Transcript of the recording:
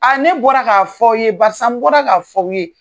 ne bɔra k'a fɔ aw ye barisa n bɔra k'a fɔ aw ye.